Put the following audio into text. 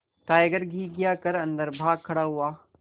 tiger घिघिया कर अन्दर भाग खड़ा हुआ